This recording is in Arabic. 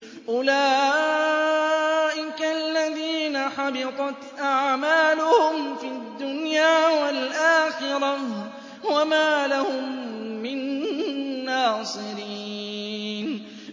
أُولَٰئِكَ الَّذِينَ حَبِطَتْ أَعْمَالُهُمْ فِي الدُّنْيَا وَالْآخِرَةِ وَمَا لَهُم مِّن نَّاصِرِينَ